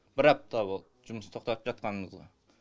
бір апта болды жұмысты тоқтатып жатқанымызға